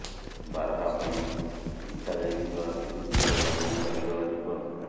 ବାରହା ପାଇଁ ବିଛା ଯାଇଥିବା ବିଦ୍ୟୁତ ତାର ଲାଗି ଚାଲିଗଲା ଜୀବନ